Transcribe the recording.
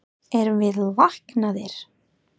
Erum við læknaðir?